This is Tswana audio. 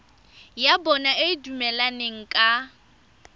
ya bona e dumelaneng ka